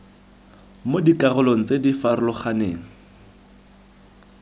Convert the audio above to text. mo dikarolong tse di farologaneng